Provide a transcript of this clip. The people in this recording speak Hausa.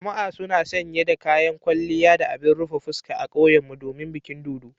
Jama'a suna sanye da kayan kwalliya da abin rufe fuska a kauyenmu domin bikin dodo.